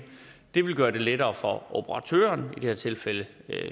det vil gøre det lettere for operatøren i det her tilfælde